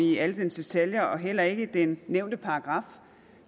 i alle dens detaljer og heller ikke den nævnte paragraf